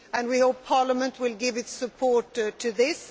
We hope Parliament will give its support to this.